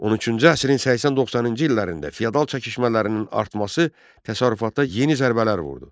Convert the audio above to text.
13-cü əsrin 80-90-cı illərində feodal çəkişmələrinin artması təsərrüfatda yeni zərbələr vurdu.